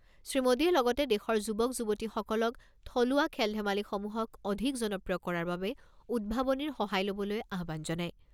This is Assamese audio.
শ্ৰীমোদীয়ে লগতে দেশৰ যুৱক যুৱতীসকলক থলুৱা খেল ধেমালিসমূহক অধিক জনপ্ৰিয় কৰাৰ বাবে উদ্ভাৱনীৰ সহায় ল'বলৈ আহ্বান জনায়।